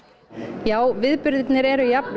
já viðburðirnir eru jafn